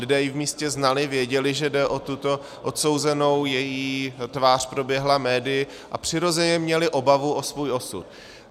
Lidé ji v místě znali, věděli, že jde o tuto odsouzenou, její tvář proběhla médii, a přirozeně měli obavu o svůj osud.